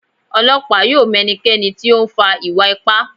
Ọlọpa yóò m ẹnikẹni ti o nfa iwa-ipa